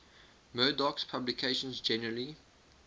murdoch's publications generally